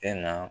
Tɛ na